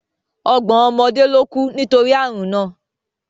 Ọgbọ̀n ọmọdé ló kú nítorí àrùn náà